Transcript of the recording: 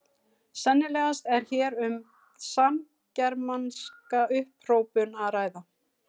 Sennilegast er hér um samgermanska upphrópun að ræða.